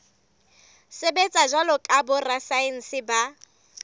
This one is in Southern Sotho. sebetsa jwalo ka borasaense ba